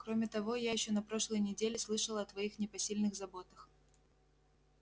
кроме того я ещё на прошлой неделе слышала о твоих непосильных заботах